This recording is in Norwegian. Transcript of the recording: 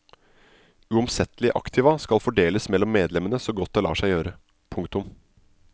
Uomsettelige aktiva skal fordeles mellom medlemmene så godt det lar seg gjøre. punktum